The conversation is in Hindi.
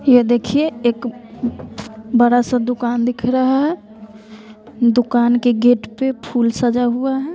ये देखिए एक बड़ा सा दुकान दिख रहा है दुकान के गेट पे फुल सजा हुआ हैं।